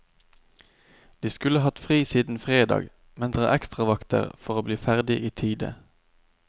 De skulle hatt fri siden fredag, men tar ekstravakter for å bli ferdig i tide.